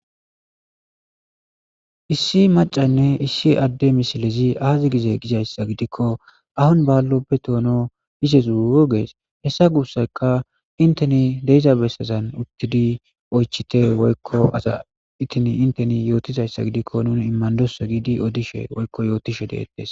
issi macaynne issi adde misilezi aazi gize gizayssa gidikko ahon baallopbe toono izezugees hessa guussayka inteni deeiza bessezan uttidi oychite woykko aza itini inteni yootizayssa gidikko nun immandoso giidi odishe woykko yootishe deettes